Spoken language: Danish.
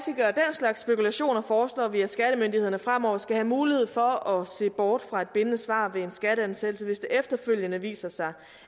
slags spekulationer foreslår vi at skattemyndighederne fremover skal have mulighed for at se bort fra et bindende svar ved en skatteansættelse hvis det efterfølgende viser sig